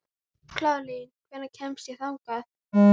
Kaðlín, hvernig kemst ég þangað?